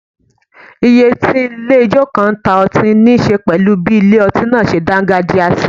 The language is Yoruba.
Ìyè tí ilé ijó kan ń ta ọtí níṣe pẹ̀lú bí ilé ọtí náà ṣe dágájíá sí